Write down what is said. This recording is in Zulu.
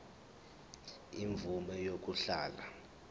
imvume yokuhlala unomphema